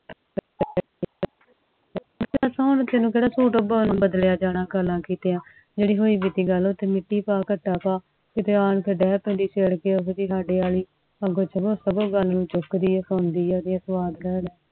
ਦਸ ਹੁਣ ਤੈਨੂੰ ਕੇਡਾ ਸੁਤ ਬਦਲਿਆ ਜਾਣਾ ਜਿਹੜੇ ਹੋਈ ਬੀਤੀ ਗੱਲ ਓਹਦੇ ਤੇ ਮਿਟੀ ਪਾ ਘੱਟਾ ਪਾ ਕੀਤੇ ਸਾਡੇ ਵਾਲ ਸਗੋਂ ਗੱਲ ਹੁਣ ਚੁੱਕ ਦੀ ਆ ਸੁਣਦੀ ਆ ਸਵਾਦ ਲੈ ਲੈ